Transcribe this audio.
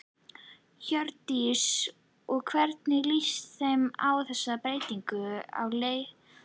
Hjördís: Og hvernig líst þér á þessar breytingar á leiðakerfinu?